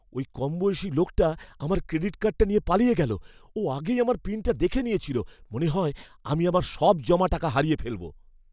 ওই কমবয়সী লোকটা আমার ক্রেডিট কার্ডটা নিয়ে পালিয়ে গেল। ও আগেই আমার পিনটা দেখে নিয়েছিল। মনে হয় আমি আমার সব জমা টাকা হারিয়ে ফেলব।